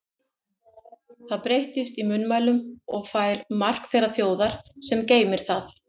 Það breytist í munnmælunum og fær mark þeirrar þjóðar, sem geymir það.